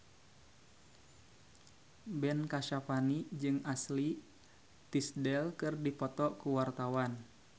Ben Kasyafani jeung Ashley Tisdale keur dipoto ku wartawan